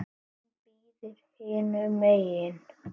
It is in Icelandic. Hún bíður hinum megin.